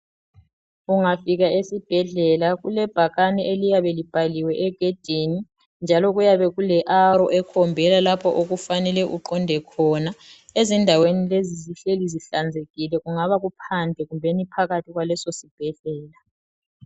Ungafika esibhedlela kulebhakane eliyabe libhaliwe egedini njalo kuyabe kule arrow ekhombela lapho okufanele uqonde khona. Ezindaweni lezi zihleli zihlanzekile kungaba phandle kumbeni phakathi kwaleso sibhedlela.